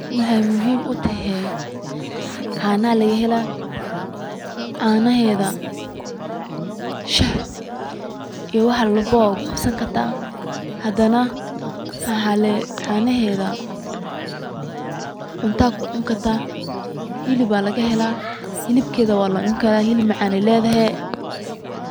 Maxay muxiim utexe, caana lagaxela, canaxeda shax iyo wax walbo wad kugabsan karta, xadhana waxa canaxeda cunta kucunkarta, xilib aya lagaxela, xiibkedha walacun karaa, xiib macan ayay ledexe, .